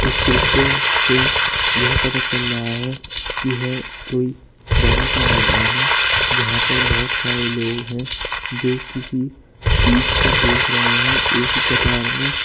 इस दृश्य से यह पता चल रहा है कि यह कोई बड़ा सा मैदान है जहाँ पर बहोत सारे लोग हैं जो किसी चीज को देख रहे हैं एक ही कतार में।